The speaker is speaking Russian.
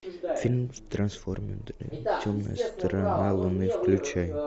фильм трансформеры темная сторона луны включай